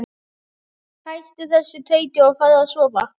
Hættu þessu tauti og farðu að sofa.